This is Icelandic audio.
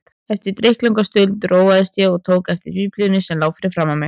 Eftir drykklanga stund róaðist ég og tók þá eftir Biblíunni sem lá fyrir framan mig.